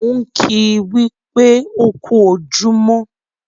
Mò ń kìí wípé "ó kú ojúmọ́"